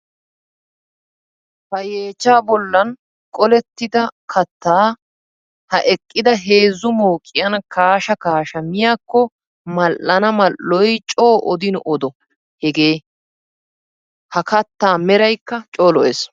Ha yeechcha bollan qollettidaa katta ha eqidda heezzu mooqiyan kaasha kaasha miiyakko mal'anna mal'oy coo odin odo hegee! Ha katta meraykka coo lo'ees.